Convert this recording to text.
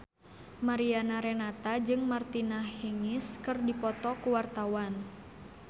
Mariana Renata jeung Martina Hingis keur dipoto ku wartawan